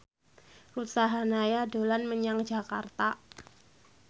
Ruth Sahanaya dolan menyang Jakarta